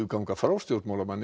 ganga frá stjórnmálamönnum